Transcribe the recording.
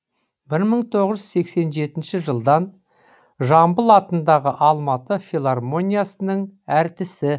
бір мың тоғыз жүз сексен жетінші жылдан жамбыл атындағы алматы филармониясының әртісі